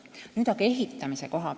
Nüüd aga ehitamisest.